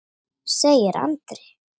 segir Andri.